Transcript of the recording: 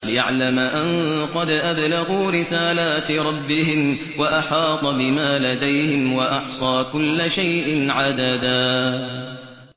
لِّيَعْلَمَ أَن قَدْ أَبْلَغُوا رِسَالَاتِ رَبِّهِمْ وَأَحَاطَ بِمَا لَدَيْهِمْ وَأَحْصَىٰ كُلَّ شَيْءٍ عَدَدًا